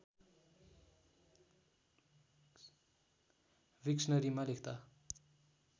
विक्सनरीमा लेख्दा